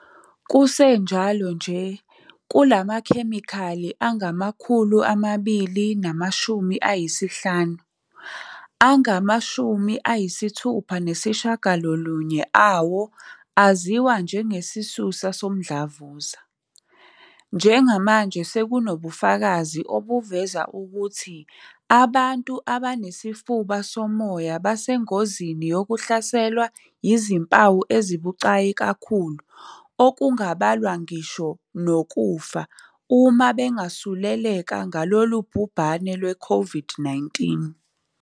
Kusenjalo nje, kulamakhemikhali angama-250, angama-69 awo aziwa njengesisusa somdlavuza. "Njengamanje, sekunobufakazi obuveza ukuthi abantu abanesifuba somoya basengozini yokuhlaselwa yizimpawu ezibucayi kakhulu okungabalwa ngisho nokufa uma bengasuleleka ngalolu bhubhane lwe-COVID-19."